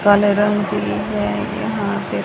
काले रंग की ये यहां पे--